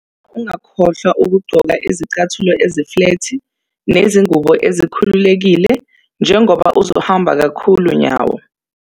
Ngicela ungakhohlwa ukugqoka izicathulo eziflethi nezingubo ezikhululekile njengoba uzohamba kakhulu nyawo!